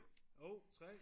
Oh 3